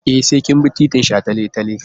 E, sai kin bi titin shataletale.